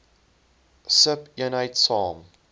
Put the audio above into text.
sub eenheid saam